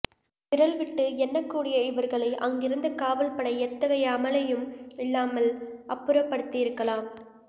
விரல்விட்டு எண்ணக்கூடிய இவர்களை அங்கிருந்த காவல்படை எத்தகைய அமளியும் இல்லாமல் அப்புறப்படுத்தியிருக்கலாம்